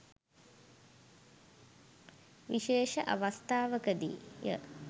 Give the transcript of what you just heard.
විශේෂ අවස්ථාවක දී ය.